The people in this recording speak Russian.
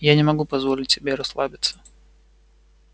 я не могу позволить себе расслабиться